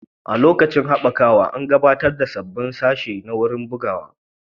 A lokacin haɓakawa, an gabatar da sabbin sashe a wuraren bugawa.